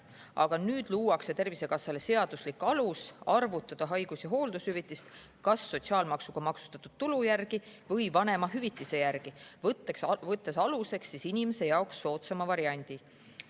Aga nüüd luuakse Tervisekassale seaduslik alus arvutada haigus- ja hooldushüvitist kas sotsiaalmaksuga maksustatud tulu järgi või vanemahüvitise järgi, võttes aluseks inimese jaoks soodsama variandi.